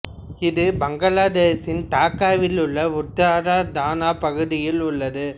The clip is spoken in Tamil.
இது பங்களாதேஷின் டாக்காவில் உள்ள உத்தரா தானா பகுதியில் உள்ளது